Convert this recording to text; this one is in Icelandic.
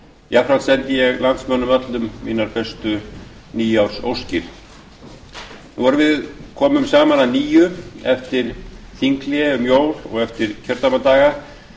jafnframt sendi ég landsmönnum öllum mínar bestu nýársóskir nú erum við komin saman að nýju eftir þinghlé um jól og eftir kjördæmadaga